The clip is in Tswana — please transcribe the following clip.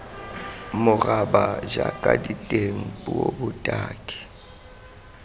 moraba jaaka diteng puo botaki